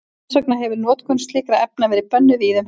Þess vegna hefir notkun slíkra efna verið bönnuð víða um heim.